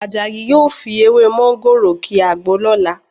Àjàyí yóò fi ewé mọ́ńgòrò ki àgbo lọ́la